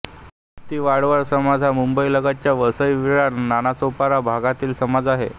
ख्रिस्ती वाडवळ समाज हा मुंबईलगतच्या वसई विरार नालासोपारा भागातील समाज आहे